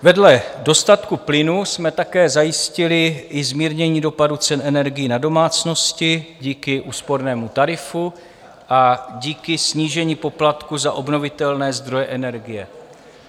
Vedle dostatku plynu jsme také zajistili i zmírnění dopadu cen energií na domácnosti díky úspornému tarifu a díky snížení poplatku za obnovitelné zdroje energie.